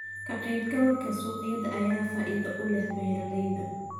Ka-qaybgalka suuqyada ayaa faa'iido u leh beeralayda.